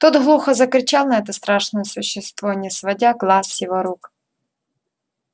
тот глухо закричал на это страшное существо не сводя глаз с его рук